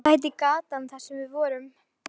Hvað heitir gatan þar sem við vorum?